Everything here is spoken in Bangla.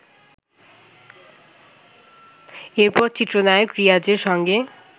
এরপর চিত্রনায়ক রিয়াজের সঙ্গে